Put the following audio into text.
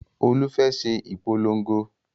Olú fẹ́ ṣe ìpolongo